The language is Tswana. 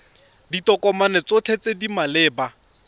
ditokomane tsotlhe tse di maleba